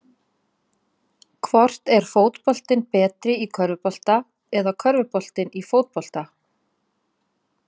Hvort er fótboltinn betri í körfubolta eða körfuboltinn í fótbolta?